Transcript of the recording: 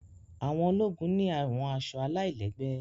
àwọn ologun ni àwọn aṣọ àlailẹgbẹ